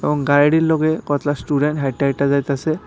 এবং গাইড়ির লগে কতলা স্টুডেন হাইটা হাইটা যাইতাসে।